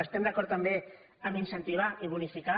estem d’acord també a incentivar i bonificar